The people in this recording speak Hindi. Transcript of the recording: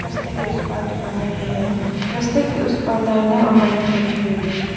रस्ते के उस पार दुकानें भी हैं। रस्ते के उस पार दाहिने और बाएं तरफ बिल्डिंग हैं।